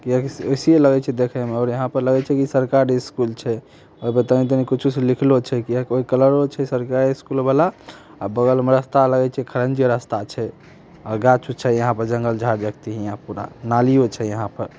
यहां पर लगे छै की सरकारी स्कूल छै कुछो से लिखलो छै नालियों छै यहां पर ---